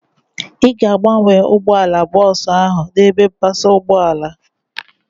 Ị ga-abanye ụgbọala bọọsu ahu n'ebe mpasa ụgbọala